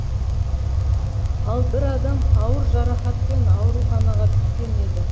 ал бір адам ауыр жарақатпен ауруханаға түскен еді